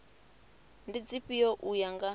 ndi dzifhio u ya nga